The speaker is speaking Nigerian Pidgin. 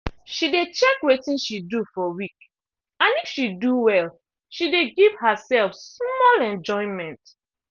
she dey check wetin she do for week and if she do well she dey give herself small enjoyment.